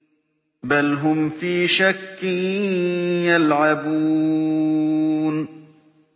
بَلْ هُمْ فِي شَكٍّ يَلْعَبُونَ